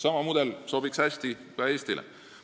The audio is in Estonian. Sama mudel sobiks hästi ka Eestile.